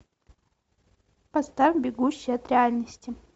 поставь бегущий от реальности